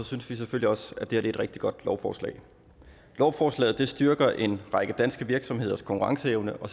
synes vi selvfølgelig også at det her er et rigtig godt lovforslag lovforslaget styrker en række danske virksomheders konkurrenceevne og